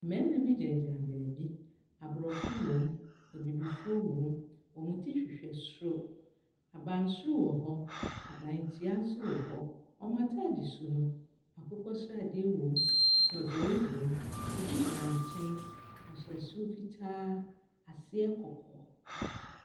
Mmarima bi gyinagyina baabi. Aborɔfo wom, abibifoɔ wom. Wɔn ti hwehwɛ soro. Abansoro wɔ hɔ, adantia nso wɔ hɔ. Wɔn atadesu no, akokɔ sradeɛ wom, dɔdɔe wom. Obi gyina nkyɛn. Ɔhyɛ soro fitaa, aseɛ kɔkɔɔ.